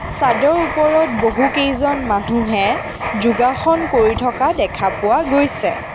চাদৰ ওপৰত বহুকেইজন মানুহে যোগাসন কৰি থকা দেখা পোৱা গৈছে।